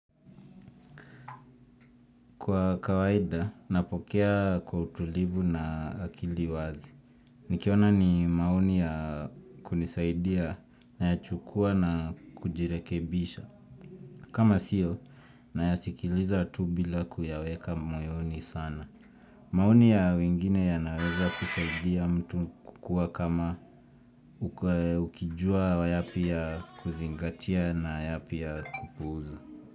Kwa kawaida, napokea kwa utulivu na akili wazi. Nikiona ni maoni ya kunisaidia nayachukua na kujirekebisha. Kama sio, nayasikiliza tu bila kuyaweka moyoni sana. Maoni ya wengine yanaweza kusaidia mtu kukua kama ukijua yapi ya kuzingatia na yapi ya kupuza.